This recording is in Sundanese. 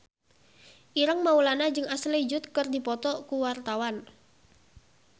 Ireng Maulana jeung Ashley Judd keur dipoto ku wartawan